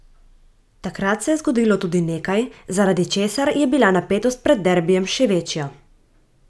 Takrat se je zgodilo tudi nekaj, zaradi česar je bila napetost pred derbijem še večja.